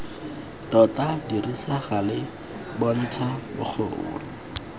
tota dirisa gale bontsha bokgoni